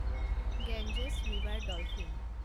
Ganges river dolphin